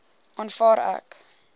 aanvaar ek